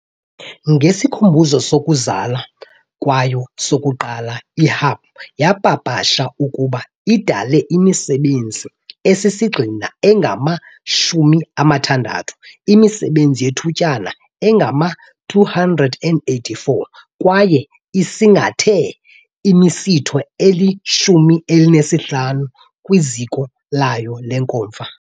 Ngesikhumbuzo sokuzalwa kwayo sokuqala, i-Hub yapapasha ukuba idale imisebenzi esisigxina engama-66, imisebenzi yethutyana engama-284 kwaye isingathe imisitho eli-15 kwiziko layo lenkomfa .